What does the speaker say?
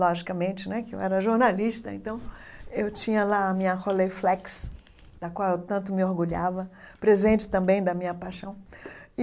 Logicamente né, porque eu era jornalista, então eu tinha lá a minha rolê Flex, da qual eu tanto me orgulhava, presente também da minha paixão.